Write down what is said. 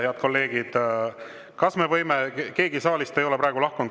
Head kolleegid, keegi saalist ei ole praegu lahkunud.